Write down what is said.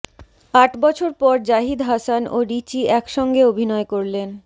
আট বছর পর জাহিদ হাসান ও রিচি একসঙ্গে অভিনয় করলেন